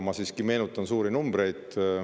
Ma siiski meenutan suuri numbreid.